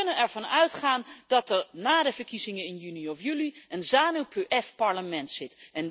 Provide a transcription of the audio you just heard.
Dus we kunnen ervan uitgaan dat er na de verkiezingen in juni of juli een ZANU PF parlement